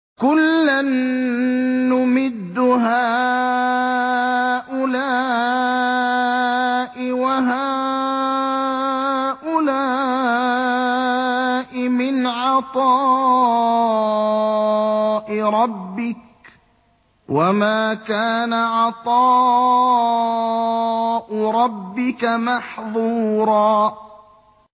كُلًّا نُّمِدُّ هَٰؤُلَاءِ وَهَٰؤُلَاءِ مِنْ عَطَاءِ رَبِّكَ ۚ وَمَا كَانَ عَطَاءُ رَبِّكَ مَحْظُورًا